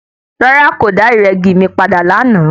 Rárá, kòdà ìrẹ́gi mi padà lánàá.